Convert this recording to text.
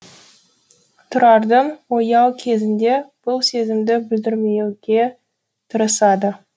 тұрардың ояу кезінде бұл сезімді білдірмеуге тырысады